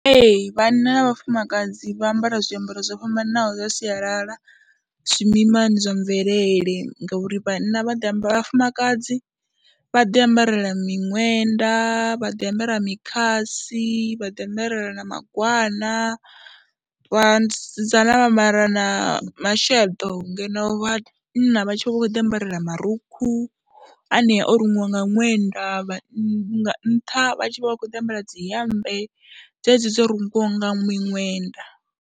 Ee, vhanna na vhafumakadzi vha ambara zwiambaro zwo fhambananaho zwa sialala zwimimani zwa mvelele ngauri vhanna vha ḓi amba, vhafumakadzi vha ḓiambarela miṅwenda, vha ḓiambarela mikhasi, vha ḓiambarela na magwana, vhasidzana vha mara na masheḓo ngeno vhanna vha tshi vha vha khou ḓiambarela marukhu anea o rungiwa nga ṅwenda vha nga nṱha vha tshi vha vha vha khou ḓiambarela dzi hemmbe dzedzi dzo rungiwa nga miṅwenda.